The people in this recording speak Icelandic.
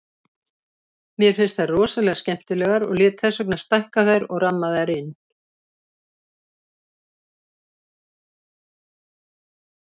Mér finnst þær rosalega skemmtilegar og lét þess vegna stækka þær og rammaði þær inn.